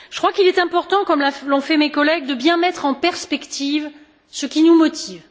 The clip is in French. Je crois qu'il est important comme l'ont fait mes collègues de bien mettre en perspective ce qui nous motive.